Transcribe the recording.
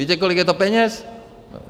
Víte, kolik je to peněz?